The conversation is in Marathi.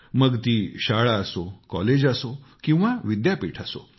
मग ती शाळा असो कॉलेज असो किंवा विद्यापीठ असो